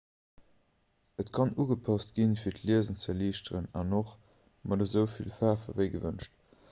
et kann ugepasst ginn fir d'liesen ze erliichteren an och mat esou vill faarf ewéi gewënscht